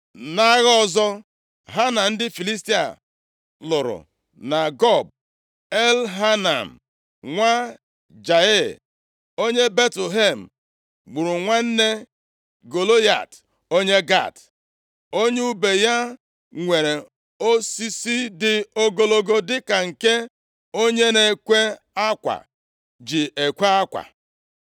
Nʼagha ọzọ ha na ndị Filistia lụrụ na Gob, Elhanan + 21:19 Ọ bụ nwanne nna Devid \+xt 1Ih 11:26\+xt* nwa Jaịa + 21:19 Maọbụ, Jaare-Oregim onye Betlehem gburu nwanne Golaịat onye Gat, + 21:19 Dịka akụkọ a kọrọ nʼakwụkwọ Ihe E Mere nʼụbọchị ndị eze, \+xt 1Ih 20:5\+xt* si dị, Elhanan, nwa Jaịa, gburu Lahmi nwanne Golaịat. Akụkọ a dakọtara na nke a kọrọ nʼakwụkwọ \+xt 1Sa 17\+xt*, ebe e dere na Devid tigburu Golaịat. Eleghị anya, ndị ndepụta okwu chere na “Lahmi nwanne ya,” pụtara “onye Betlehem.” onye ùbe ya nwere osisi dị ogologo dịka nke onye na-ekwe akwa ji ekwe akwa.